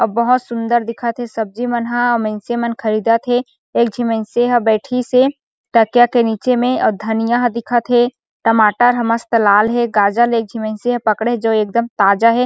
अउ बहोत सुन्दर दिखत हे सब्जी मन ह अउ मइनसे मन ख़रीदत हे एक झी मइनसे ह बइठिस हे तकिया के निचे में अउ धनिया ह दिखत हे टमाटर ह मस्त लाल हे गाजर ल एकझीन मइनसे पकड़िस हे जो एकदम ताज़ा हे।